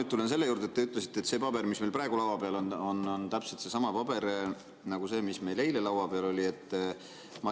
Ma tulen selle juurde, mis te ütlesite, et see paber, mis meil praegu laua peal on, on täpselt seesama paber nagu see, mis meil eile laua peal oli.